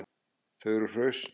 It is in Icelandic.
Þau eru hraust